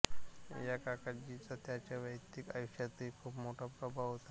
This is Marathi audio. या काकाजीचा त्यांच्या वैयक्तिक आयुष्यातही खूप मोठा प्रभाव होता